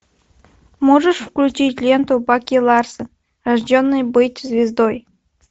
можешь включить ленту баки ларсон рожденный быть звездой